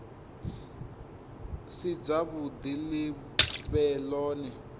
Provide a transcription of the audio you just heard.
si dzavhuḓi ḽi vhe ḽone